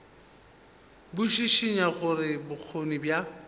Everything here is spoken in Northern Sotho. bo šišinya gore bokgoni bja